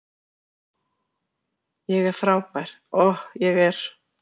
Ég er frábær, Ohh, ég er